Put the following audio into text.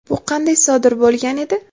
Bu qanday sodir bo‘lgan edi?.